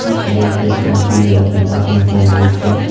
this image shows the interior of an automobile workshop